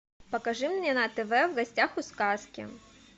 покажи мне на тв в гостях у сказки